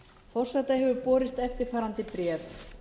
forseta hefur borist eftirfarandi bréf